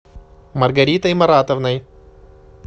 маргаритой маратовной